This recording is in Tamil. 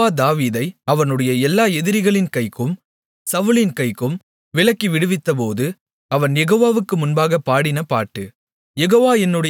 யெகோவா தாவீதை அவனுடைய எல்லா எதிரிகளின் கைக்கும் சவுலின் கைக்கும் விலக்கி விடுவித்தபோது அவன் யெகோவாவுக்கு முன்பாகப் பாடின பாட்டு